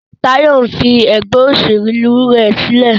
Tayo nfí ègbé òṣèlú rẹ sílẹ̀.